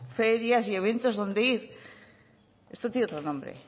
ferias y eventos donde ir esto tiene otro nombre